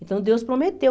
Então Deus prometeu.